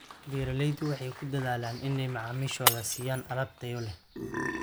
Beeraleydu waxay ku dadaalaan inay macaamiishooda siiyaan alaab tayo leh.